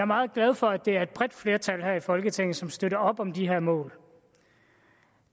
meget glad for at det er et bredt flertal her i folketinget som støtter op om de her mål